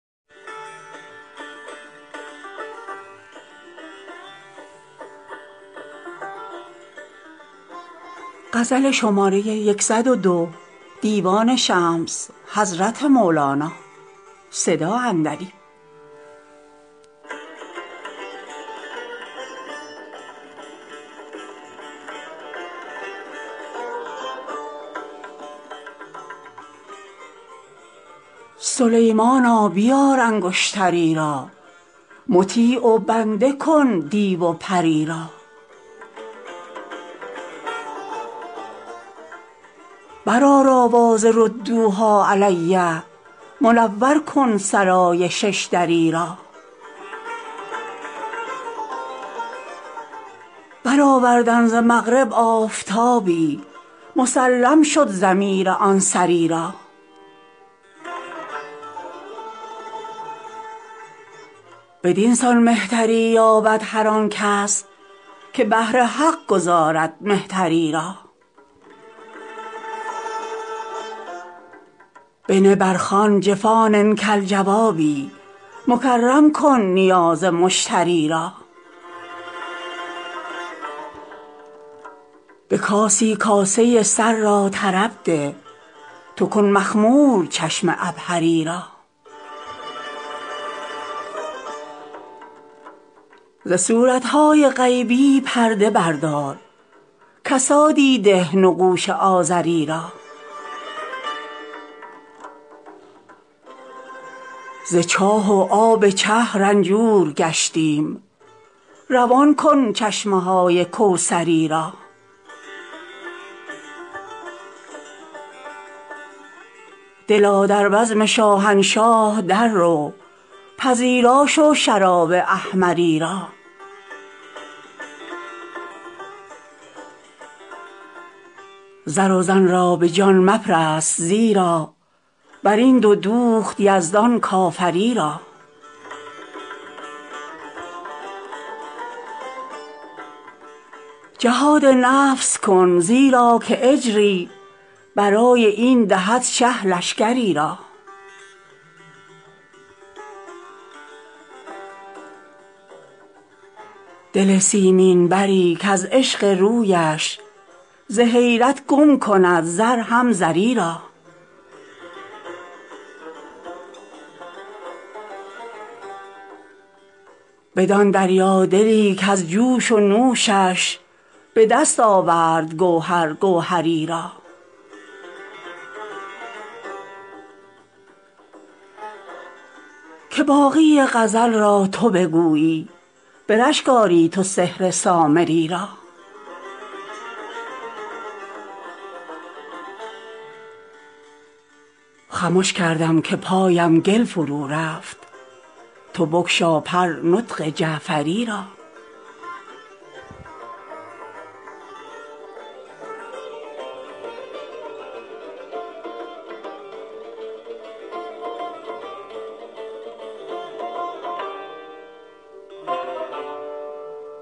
سلیمانا بیار انگشتری را مطیع و بنده کن دیو و پری را برآر آواز ردوها علی منور کن سرای شش دری را برآوردن ز مغرب آفتابی مسلم شد ضمیر آن سری را بدین سان مهتری یابد هر آن کس که بهر حق گذارد مهتری را بنه بر خوان جفان کالجوابی مکرم کن نیاز مشتری را به کاسی کاسه سر را طرب ده تو کن مخمور چشم عبهری را ز صورت های غیبی پرده بردار کسادی ده نقوش آزری را ز چاه و آب چه رنجور گشتیم روان کن چشمه های کوثری را دلا در بزم شاهنشاه دررو پذیرا شو شراب احمری را زر و زن را به جان مپرست زیرا بر این دو دوخت یزدان کافری را جهاد نفس کن زیرا که اجری برای این دهد شه لشکری را دل سیمین بری کز عشق رویش ز حیرت گم کند زر هم زری را بدان دریادلی کز جوش و نوشش به دست آورد گوهر گوهری را که باقی غزل را تو بگویی به رشک آری تو سحر سامری را خمش کردم که پایم گل فرورفت تو بگشا پر نطق جعفری را